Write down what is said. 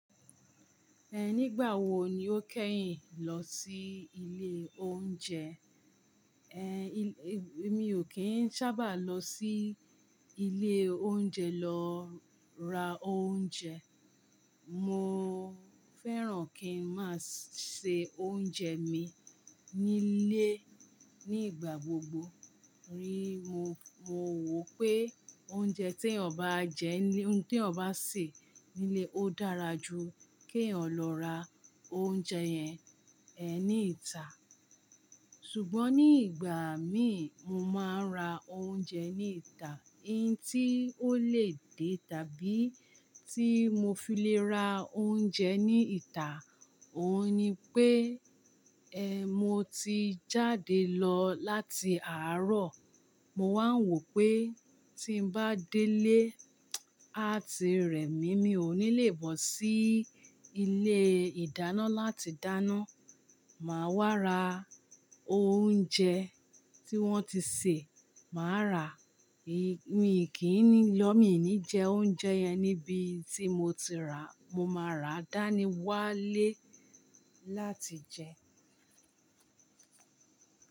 Ehn, nígbà wo ni o kẹ́yin lọ sí ilé oúnjẹ? Emi ò kí ń sábà lọ sí ilé oúnjẹ lọ ra oúnjẹ. Mo fẹ́ràn kí n máa ṣe oúnjẹ mi ní ilé ní igbà gbogbo. Ríi mo, mo wò pé oúnjẹ tí ènìyàn bá jẹ́ nile, ní ohun tí ènìyàn bá sè ní ilé, ó dára ju kí ènìyàn lọ ra oúnjẹ yẹn, eh, ní ìta. Ṣùgbọ́n ní ìgbà míì, mo máa ń ra oúnjẹ ní ìta. Ohun tí ó lè dé tàbí tí mo fi lè ra oúnjẹ ní ìta, òhun ni pé, eh, mo ti jáde lọ láti àárọ̀. Mo wáa ń wò pé tí n bá délé, a tí rẹ̀ mí, mi ò ní lè bọ́ sí ilé ìdáná láti dáná. Màá wá ra oúnjẹ tí wọ́n ti sè, màá rà. Mi ò ní jẹ oúnjẹ yẹn níbi tí mo ti rà. Mo máa rà dáa ní wá lé láti jẹ.